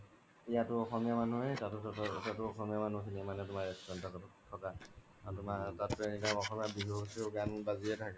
ইয়াতো অসমীয়া মনুহে তাতো অসমীয়া মনুহে মানে তুমাৰ থকা আৰু তাত তুমাৰ অসমীয়া বিহু চিহু গান বাজিয়ে থাকে